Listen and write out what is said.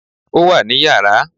Ó wà ní yàrá